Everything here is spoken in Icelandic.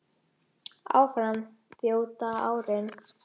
Áfram þjóta árin